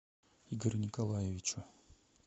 игорю николаевичу